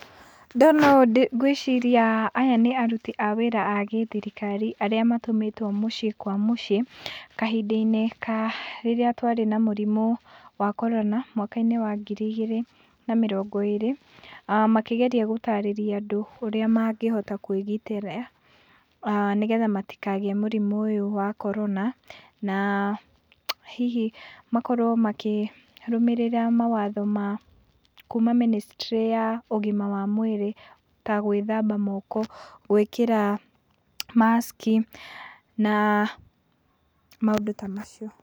Ndona ũũ ngwĩciria aya nĩ aruti a wĩra a gĩthirikari arĩa matũmĩtwo mĩciĩ kwa mĩciĩ kahinda-inĩ karĩa twarĩ na mũrimũ wa Corona mwaka-inĩ wa ngiri igĩrĩ na mĩrongo ĩrĩ, makĩgeria gũtarĩria andũ ũrĩa mangĩhota kwĩgitĩra nĩgetha matikagĩe mũrimũ ũyũ wa Corona na, na hihi makorwo makĩrũmĩrĩra mawatho ma kuma ministry ya ũgima wa mwĩrĩ ta gwĩthamba moko, gwĩkĩra mask i na maũndũ ta macio.